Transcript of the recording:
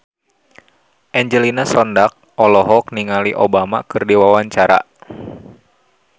Angelina Sondakh olohok ningali Obama keur diwawancara